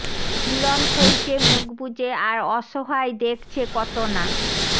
পীড়ন সইছে মুখ বুজে আর অসহায় দেখছে কত না